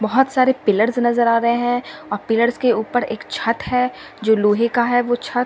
बहुत सारे पिलर्स नजर आ रहे हैं और पिलर्स के ऊपर एक छत है जो लोहे का है वो छत।